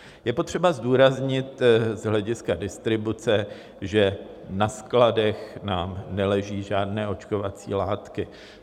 Je potřeba zdůraznit z hlediska distribuce, že na skladech nám neleží žádné očkovací látky.